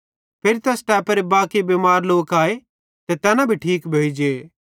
फिरी तैस टैपेरे बाकी बिमार लोक आए ते तैना ठीक भोइ जे